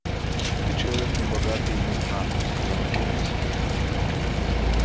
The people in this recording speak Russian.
ты человек небогатый и незнатный сказал джеймс